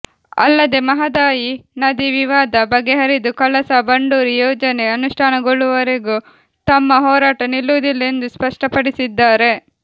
ಅಲ್ಲದೆ ಮಹದಾಯಿ ನದಿ ವಿವಾದ ಬಗೆಹರಿದು ಕಳಸಾ ಬಂಡೂರಿ ಯೋಜನೆ ಅನುಷ್ಠಾನಗೊಳ್ಳುವವರೆಗೂ ತಮ್ಮ ಹೋರಾಟ ನಿಲ್ಲುವುದಿಲ್ಲ ಎಂದು ಸ್ಪಷ್ಟಪಡಿಸಿದ್ದಾರೆ